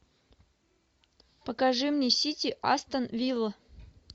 покажи мне сити астон вилла